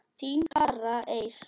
Þín, Kara Eir.